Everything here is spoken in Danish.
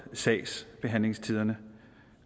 sagsbehandlingstiderne